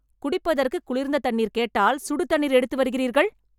குடிப்பதற்கு குளிரிந்த தண்ணீர் கேட்டால் சுடுதண்ணீர் எடுத்துவருகிறீர்கள்?